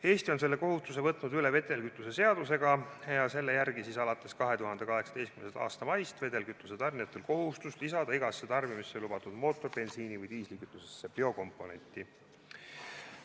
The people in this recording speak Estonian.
Eesti on selle kohustuse võtnud üle vedelkütuse seadusega ja selle järgi on alates 2018. aasta maist vedelkütuse tarnijatel kohustus lisada tarbimisse lubatud mootoribensiini või diislikütusesse biokomponenti.